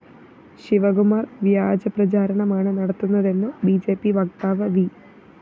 ശിവകുമാര്‍ വ്യാജപ്രചാരണമാണ് നടത്തുന്നതെന്ന് B J P വക്താവ് വി